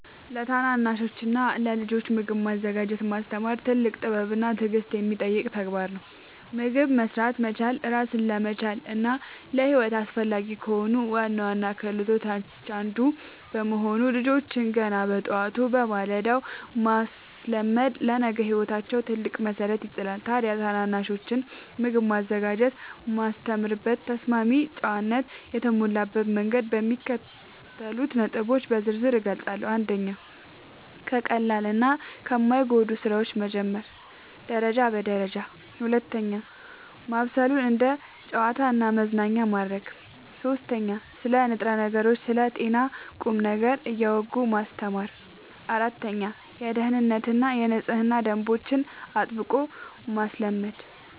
ለታናናሾችና ለልጆች ምግብ ማዘጋጀትን ማስተማር ትልቅ ጥበብና ትዕግሥት የሚጠይቅ ድንቅ ተግባር ነው። ምግብ መሥራት መቻል ራስን ለመቻልና ለሕይወት አስፈላጊ ከሆኑ ዋና ዋና ክህሎቶች አንዱ በመሆኑ፣ ልጆችን ገና በጠዋቱ (በማለዳው) ማስለመድ ለነገ ሕይወታቸው ትልቅ መሠረት ይጥላል። ታዲያ ታናናሾችን ምግብ ማዘጋጀት የማስተምርበትን ተስማሚና ጨዋነት የተሞላበት መንገድ በሚከተሉት ነጥቦች በዝርዝር እገልጻለሁ፦ 1. ከቀላልና ከማይጎዱ ሥራዎች መጀመር (ደረጃ በደረጃ) 2. ማብሰሉን እንደ ጨዋታና መዝናኛ ማድረግ 3. ስለ ንጥረ ነገሮችና ስለ ጤና ቁም ነገር እያወጉ ማስተማር 4. የደኅንነትና የንጽህና ደንቦችን አጥብቆ ማስለመድ